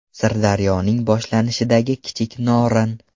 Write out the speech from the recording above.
Sirdaryoning boshlanishidagi Kichik Norin.